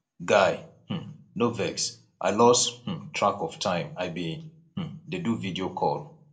guy um no vex i lose um track of time i bin um dey do video call